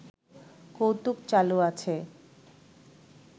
কৌতুক চালু আছে